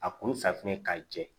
A kun fa kun ye ka jɛ